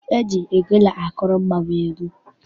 E ji ogene akụrụ mmọnwụ egwu.